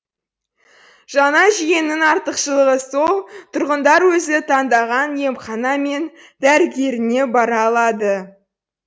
жаңа жүйенің артықшылығы сол тұрғындар өзі таңдаған емхана мен дәрігеріне бара алады